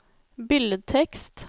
billedtekst